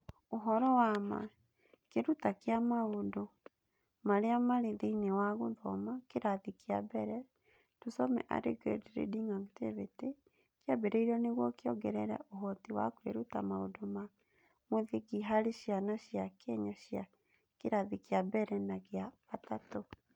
Ũhoro wa ma: Kĩruta kĩa Maũndũ Marĩa Marĩ Thĩinĩ wa Gũthoma Kĩrathi kĩa Mbere (Tusome Early Grade Reading Activity) kĩambĩrĩirio nĩguo kĩongerere ũhoti wa kwĩruta maũndũ ma mũthingi hari ciana cia Kenya cia kĩrathi kĩa mbere na gĩa gatatũ